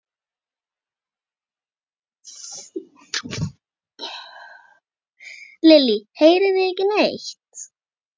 Lillý: Heyrið þið ekki neitt?